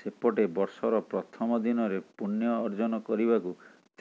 ସେପଟେ ବର୍ଷର ପ୍ରଥମ ଦିନରେ ପୂଣ୍ୟ ଅଜନ କରିବାକୁ